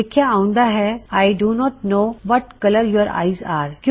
ਲਿਖਿਆ ਆਉਂਦਾ ਹੈ I don't know what colour your eyes ਅਰੇ